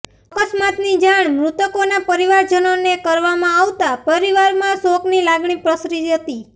અકસ્માતની જાણ મૃતકોના પરિવારજનોને કરવામાં આવતા પરિવારમાં શોકની લાગણી પ્રસરી હતી